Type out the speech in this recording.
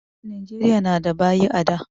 Nijeriya na da baƴi a da